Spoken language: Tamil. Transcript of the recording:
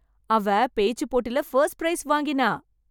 அவ பேச்சு போட்டில ஃபர்ஸ்ட் பிரைஸ் வாங்கினா.